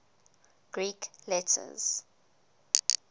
greek letters